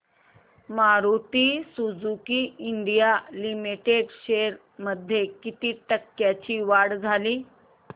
Maruti Suzuki India limited shares मध्ये किती टक्क्यांची वाढ झाली